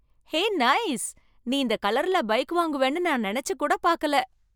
ஹே nice! நீ இந்த கலர்ல பைக் வாங்குவேன்னு நான் நினைச்சு கூட பாக்கல.